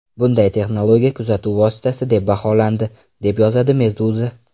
Bunday texnologiya kuzatuv vositasi deb baholandi, deb yozadi Meduza.